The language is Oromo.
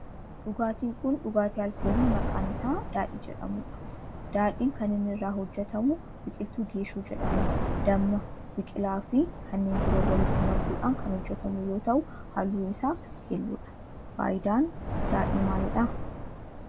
Dhugaatin kun dhugaatii alkoolii maqaan isaa daadhii jedhamudha. Daadhiin kan inni irraa hojjetamu biqiltu geeshoo jedhamu, damma, biqilaa fi kanneen biroo walitti makuudhan kan hojjetamu yoo ta'u halluun isaa keelloodha. Faayidaan daadhii maalidha?